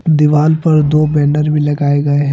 दीवाल पर दो बैनर भी लगाए गए हैं।